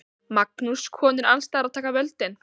Magnús: Konur alls staðar að taka völdin?